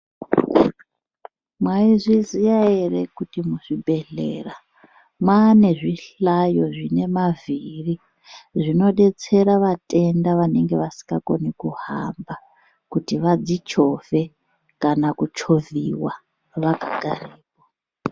Maizviziya ere kuti muzvibhedhlera mane zvihlayo zvinofamba nemavhiri zvinodetsera vatenda vanenge vasingakoni kuhamba kuti vadzichovhe kana kuchovhiwa vakagara .